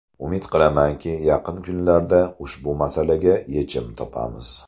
Umid qilamanki, yaqin kunlarda ushbu masalaga yechim topamiz”.